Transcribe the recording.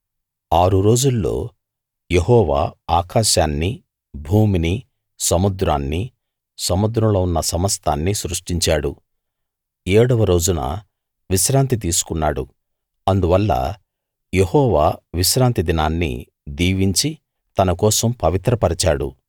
ఆరు రోజుల్లో యెహోవా ఆకాశాన్ని భూమిని సముద్రాన్ని సముద్రంలో ఉన్న సమస్తాన్నీ సృష్టించాడు ఏడవ రోజున విశ్రాంతి తీసుకున్నాడు అందువల్ల యెహోవా విశ్రాంతి దినాన్ని దీవించి తనకోసం పవిత్ర పరిచాడు